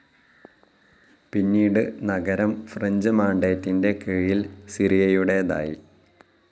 പിന്നീട് നഗരം ഫ്രഞ്ച്‌ മാൻഡേറ്റിന്റെ കീഴിൽ സിറിയയുടേതായി.